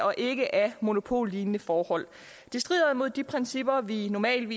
og ikke af monopollignende forhold det strider imod de principper vi normalt